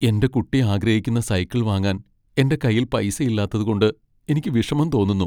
എന്റെ കുട്ടി ആഗ്രഹിക്കുന്ന സൈക്കിൾ വാങ്ങാൻ എന്റെ കൈയിൽ പൈസ ഇല്ലാത്തതുകൊണ്ട് എനിക്ക് വിഷമം തോന്നുന്നു.